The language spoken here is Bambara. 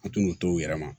An tɛn'u tɔw yɛrɛ ma